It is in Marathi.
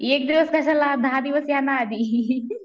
एक दिवस कशाला दहा दिवस या ना आधी